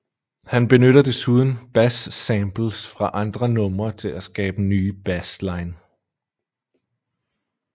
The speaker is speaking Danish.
Han benytter desuden bas samples fra andre numre til at skabe nye bassline